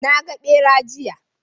Naga ɓera, jiya